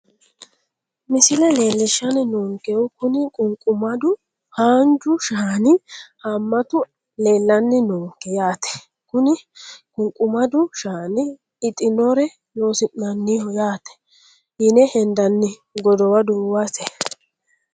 Misile leelishani noonkehu kuni qunqumadu haanju shaani haamatu leelani noonke yaate kuni qunqumadu shaani ixinore loosinaaniho yaate yine hendani godowa duuwate.